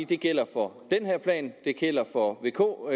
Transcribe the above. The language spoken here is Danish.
det gælder for den her plan det gælder for vk